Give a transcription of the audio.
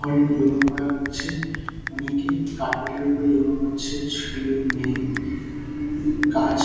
ঘরে ইয়োগা করা হচ্ছে অনেকে কার্পেট -এর উপর ইয়োগা করছে ছেলে মেয়ে কাজ--